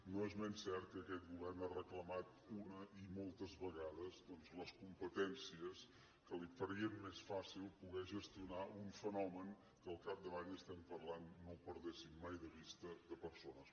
no és menys cert que aquest govern ha reclamat una i moltes vegades doncs les competències que li farien més fàcil poder gestionar un fenomen que al capdavall estem parlant no ho perdéssim mai de vista de persones